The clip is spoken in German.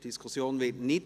– Das ist der Fall.